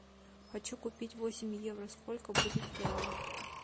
хочу купить восемь евро сколько будет в реалах